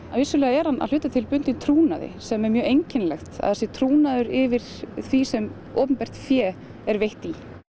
vissulega er hann að hluta til bundinn trúnaði sem er mjög einkennilegt að það sé trúnaður yfir því sem opinbert fé er veitt í